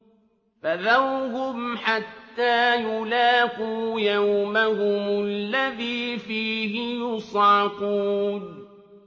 فَذَرْهُمْ حَتَّىٰ يُلَاقُوا يَوْمَهُمُ الَّذِي فِيهِ يُصْعَقُونَ